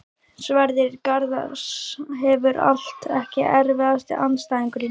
Sverrir Garðars hefur allt Ekki erfiðasti andstæðingur?